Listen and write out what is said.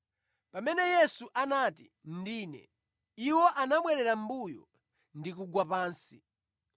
Pamene Yesu anati, “Ndine,” iwo anabwerera mʼmbuyo ndi kugwa pansi.